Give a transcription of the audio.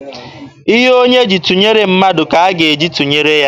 Ihe onye ji tụnyere mmadụ ka a ga-eji tụnyere ya.